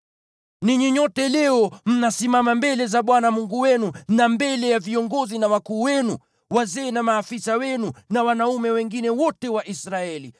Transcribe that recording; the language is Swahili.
Ninyi nyote leo mnasimama mbele za Bwana Mungu wenu; mkiwa viongozi na wakuu wenu, wazee na maafisa wenu, na wanaume wengine wote wa Israeli,